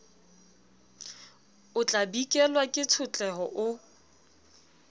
o tlabikelwa ke tshotleho o